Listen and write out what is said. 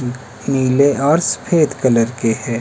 नीले और सफेद कलर के हैं।